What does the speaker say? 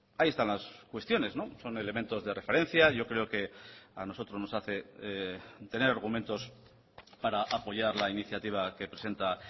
ahí están las cuestiones son elementos de referencia yo creo que a nosotros nos hace tener argumentos para apoyar la iniciativa que presenta